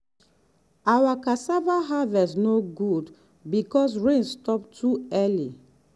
our cassava harvest no good because rain stop too early.